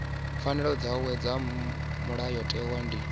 pfanelo dzavho dza mulayotewa ndi